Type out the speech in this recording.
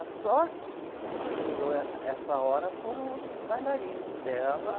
A sorte que quem segurou eh, essa hora foram os bailarinos dela.